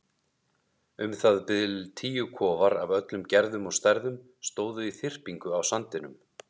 Um það bil tíu kofar af öllum gerðum og stærðum stóðu í þyrpingu á sandinum.